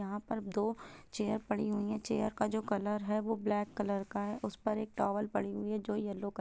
यहाँ पर दो चेयर पड़ी हुई है चेयर का जो कलर है वो ब्लैक कलर है उस पर एक टॉवल पड़ी हुई है जो येलो कलर --